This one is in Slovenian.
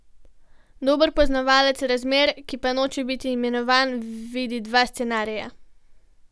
Dober poznavalec razmer, ki pa noče biti imenovan, vidi dva scenarija.